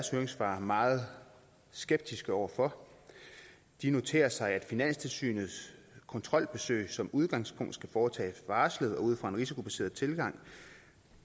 høringssvar meget skeptisk over for de noterer sig at finanstilsynets kontrolbesøg som udgangspunkt skal foretages varslet og ud fra en risikobaseret tilgang